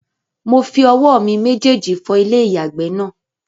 Mo fi owó mi méjèjì fọ ilé-ìyàgbẹ̀ náà